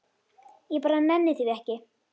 Ég bara nenni því ekki.